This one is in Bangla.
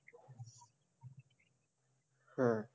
হ্যাঁ,